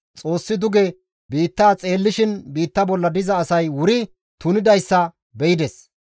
Xoossi duge biitta xeellishin biitta bolla diza asay wuri tunidayssa be7ides.